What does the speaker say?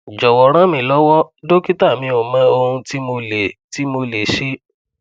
jowo ranmilowo dokita mi o mo ohun ti mo le ti mo le se